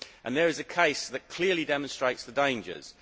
There is a case that clearly demonstrates the dangers.